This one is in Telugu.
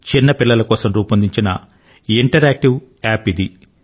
చిన్నపిల్లల కోసం రూపొందించిన ఇంటరాక్టివ్ యాప్ ఇది